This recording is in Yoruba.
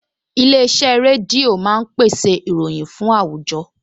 Ilé-iṣẹ́ rédíò máa ń pèsè ìròyìn fún àwùjọ